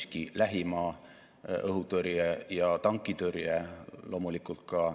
Me kõik teame, et igapäevane elu toimub tänapäeval üha enam digitaalses maailmas, olgu selleks kaugtöö, -õpe või mõni muu tegevus.